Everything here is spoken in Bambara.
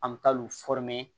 An bɛ taa l'u